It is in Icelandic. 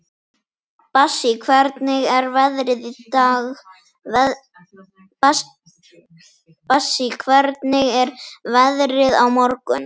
Bassí, hvernig er veðrið á morgun?